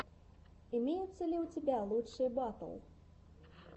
имеется ли у тебя лучшие батл